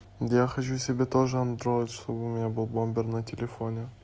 я хочу себе тоже андроид чтобы у меня был бомбер на телефон